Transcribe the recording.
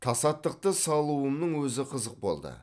тасаттықты салуымның өзі қызық болды